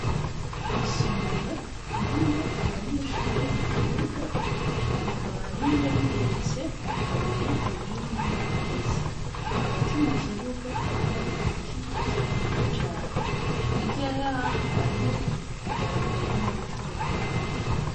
Isomero ririmwo abanyeshure mukibuga, rikaba rimwe rigeretse kabiri irindi ntirigeretse, hagati mukibuga hariho igiti kininiya cane ,hirya yaho hariho idarapo y'igihugu c'uburundi.